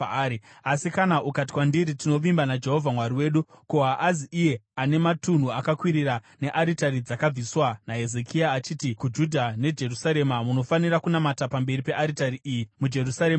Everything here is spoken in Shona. Asi kana ukati kwandiri, “Tinovimba naJehovha Mwari wedu,” ko, haazi iye ane matunhu akakwirira nearitari dzakabviswa naHezekia, achiti kuJudha neJerusarema, “Munofanira kunamata pamberi pearitari iyi muJerusarema here?”